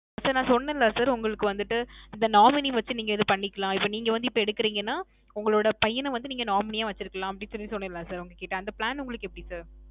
sir நான் சொன்னேன் இல்ல sir உங்களுக்கு வந்திட்டு இந்த nominee வச்சு நீங்க இது பண்ணிக்கலாம். இப்போ நீங்க வந்து இப்போ எடுக்குறீங்கனா, உங்களோட பையன வந்து நீங்க nominee யா வச்சிருக்கலாம் அப்பிடின்னு சொல்லி சொன்னேன் இல்ல sir உங்ககிட்ட. அந்த plan உங்களுக்கு எப்பிடி sir?